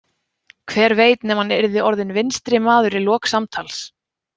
Hver veit nema hann yrði orðinn vinstrimaður í lok samtals?